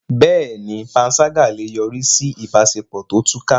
Bẹ́ẹ̀ni, panṣágà lè yọrí sí ìbáṣepọ̀ tó túká.